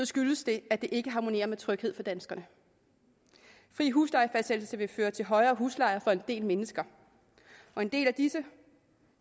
skyldes det at det ikke harmonerer med tryghed for danskerne fri huslejefastsættelse vil føre til højere husleje for en del mennesker og en del af disse